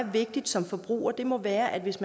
som forbruger må være at hvis